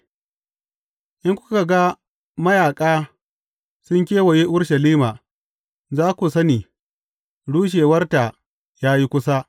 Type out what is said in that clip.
In kuka ga mayaƙa sun kewaye Urushalima, za ku sani rushewarta ya yi kusa.